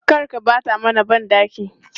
Kar ka ɓata mana ban ɗaki!